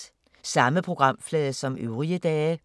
Samme programflade som øvrige dage